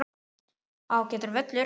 Ágætur völlur.